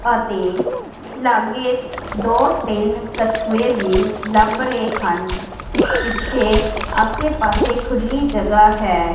ਅਤੇ ਲਾਗੇ ਦੋ ਤਿੰਨ ਕਛੂਏ ਵੀ ਲੱਭ ਰਹੇ ਹਨ ਪਿੱਛੇ ਆਸੇ ਪਾਸੇ ਖੁੱਲੀ ਜਗ੍ਹਾ ਹੈ।